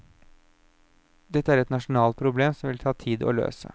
Dette er et nasjonalt problem som det vil ta tid å løse.